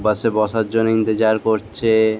বাস -এ বসার জন্যে ইন্তেজার করছে-এ।